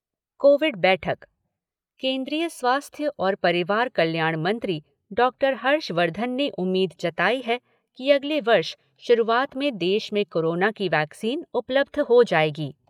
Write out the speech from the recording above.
Covid बैठक केन्द्रीय स्वास्थ्य और परिवार कल्याण मंत्री डॉक्टर हर्षवर्धन ने उम्मीद जताई है कि अगले वर्ष शुरूआत में देश में कोरोना की वैक्सीन उपलब्ध हो जाएगी।